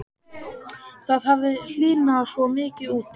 Það hafði hlýnað svo mikið úti.